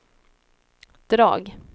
drag